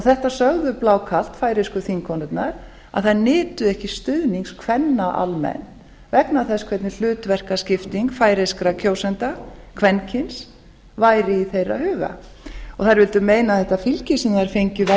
þetta sögðu færeysku þingkonurnar blákalt að þær nytu ekki stuðnings kvenna almennt vegna þess hvernig hlutverkaskiptingu færeyskra kjósenda kvenkyns væri í þeirra huga þær vildu meina að þetta fylgi sem þær fengu væri ekkert